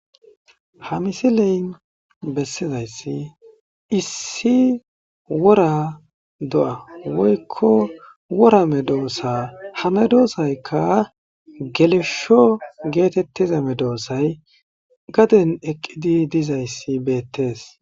Ha misiley bessizayssi issi wora do'a woykko worame doossa hame doosaykka gelesho geetettizame doosay gaden eqqidi dizayssi beettees.